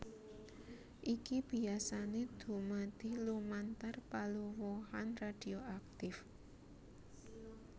Iki biyasané dumadi lumantar paluruhan radhioaktif